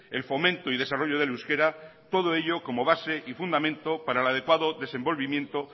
el fomento y desarrollo del euskera todo ello como base y fundamento para el adecuado desenvolvimiento